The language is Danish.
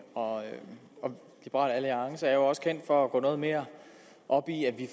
og liberal alliance er jo også kendt for at gå noget mere op i at vi